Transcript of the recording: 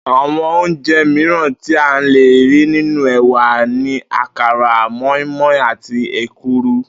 Àwo̩n oúnje̩ miíràn tí a lè rí nínú è̩wà ni àkàrà, mó̩ínmó̩in àti èkuru